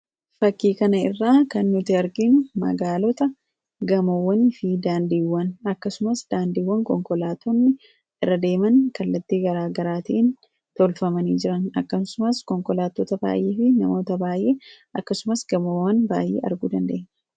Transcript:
Fakkii kanarraa kan nuti arginu magaalaa gamoowwan akkasumas daandiiwwan konkolaataan irra deeman kallattii garaagaraa fi konkolaattota baay'ee gamoowwan baay'ee argina.